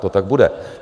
To tak bude.